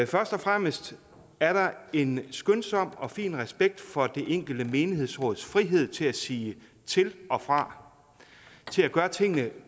først og fremmest er der en skønsom og fin respekt for det enkelte menighedsråds frihed til at sige til og fra til at gøre tingene